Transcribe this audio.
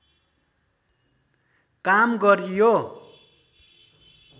काम गरियो